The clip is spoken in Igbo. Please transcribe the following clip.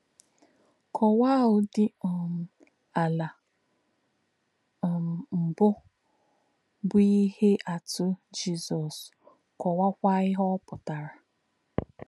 Kọ̄wá̄á̄ ūdí̄ um àlà̄ um mbụ̀ bụ́ n’íhè̄ àtụ̀ Jizọ́s, kọ̄wá̄á̄kwà̄ íhè̄ ọ́ pụ̀tà̄rà̄.